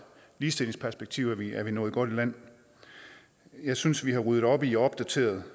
ligestillingsperspektiv er nået godt i land jeg synes at vi har ryddet op i og opdateret